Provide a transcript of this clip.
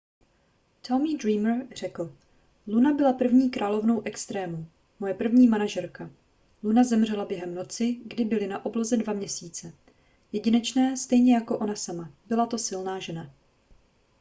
tommy dreamer řekl luna byla první královnou extrémů moje první manažerka luna zemřela během noci kdy byly na obloze dva měsíce jedinečné stejně jako ona sama byla to silná žena